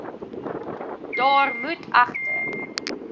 daar moet egter